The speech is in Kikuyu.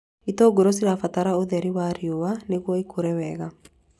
Itũngũrũ cibataraga ũtheri wa riũa nĩguo ikũre wega